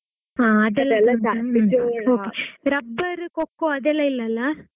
ಹಾ rubber, coco ಅದೆಲ್ಲಾ ಇಲ್ಲ ಅಲ್ಲಾ?